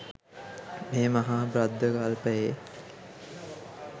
මේ මහා භද්‍ර කල්පයේ